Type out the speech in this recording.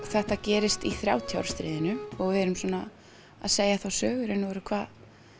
þetta gerist í þrjátíu ára stríðinu og við erum að segja þá sögu hvað